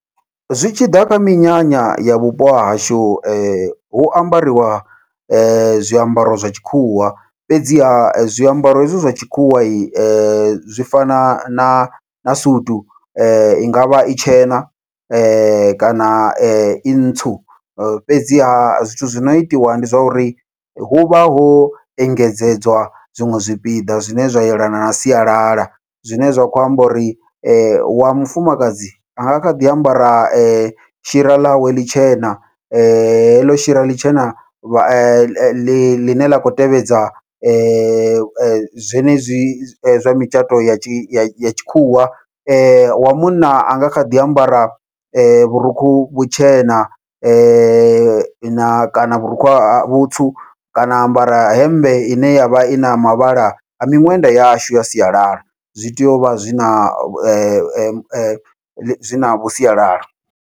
Zwi tshi ḓa kha minyanya ya vhupo hahashu hu ambariwa zwiambaro zwa tshikhuwa, fhedziha zwiambaro hezwi zwa tshikhuwa zwi fana na na sutu ingavha i tshena kana i ntsu, fhedzi ha zwithu zwi no itiwa ndi zwa uri huvha ho engedzedzwa zwiṅwe zwipiḓa zwine zwa yelana na sialala. Zwine zwa kho amba uri wa mufumakadzi anga kha ḓi ambara shira ḽawe ḽitshena, heḽo shira ḽitshena vha ḽine ḽa khou tevhedza zwenezwi zwa mitshato ya tshi ya tshikhuwa wa munna anga kha ḓi ambara vhurukhu vhutshena na kana vhurukhu ha vhutsu kana ambara hemmbe ine yavha ina mavhala a miṅwenda yashu ya sialala, zwi tea uvha zwina navhu sialala.